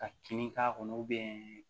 Ka kin k'a kɔnɔ